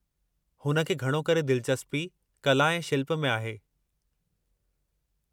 हुन खे घणो करे दिलचस्पी कला ऐं शिल्प में आहे।